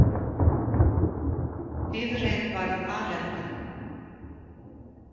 Bifreið varð alelda